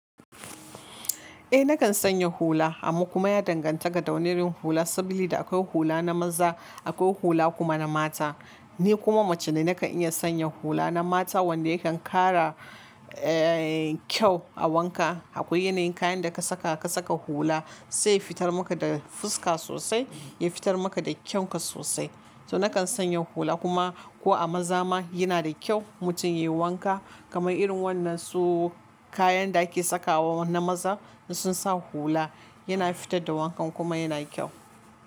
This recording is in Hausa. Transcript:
Eh nakan sanya hula amma kuma ya danganta ga dawani irin hula saboda da akwai hula na maza akwai hula kuma na mata. Ni kuma mace ne nakan iya sanya hula na mata wanda yakan ƙara eh kyau a wanka. Akwai yanayin kayan da ka saka ka saka hula sai ya fitar maka da fuska sosai, ya fitar maka da kyanka sosai. To nakan sanya hula kuma ko a maza ma yana da kyau mutum yayi wanka kamar irin wannan su kayan da ake saka wa na maza da sun sa hula yana fitar da wankan kuma yana kyau.